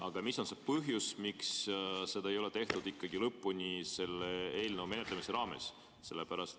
Aga mis on see põhjus, miks seda ei ole selle eelnõu menetlemise raames lõpuni tehtud?